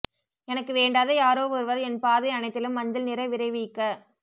எனக்கு வேண்டாத யாரோ ஒருவர் என் பாதை அனைத்திலும் மஞ்சள் நிற விரைவீக்க